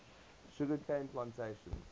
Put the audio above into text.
sugar cane plantations